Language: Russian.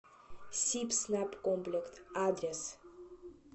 сибснабкомплект адрес